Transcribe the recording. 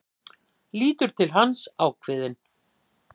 Lítur til hans, ákveðin.